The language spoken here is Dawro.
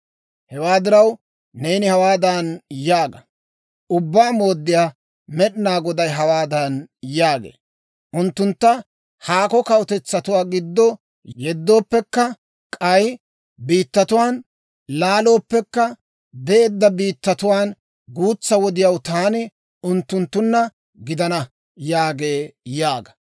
«Hewaa diraw, neeni hawaadan yaaga; ‹Ubbaa Mooddiyaa Med'inaa Goday hawaadan yaagee; «Unttuntta haakko kawutetsatuwaa giddo yeddooppekka, k'ay biittatuwaan laalooppekka, beedda biittatuwaan guutsa wodiyaw taani unttunttunna gidana» yaagee› yaaga.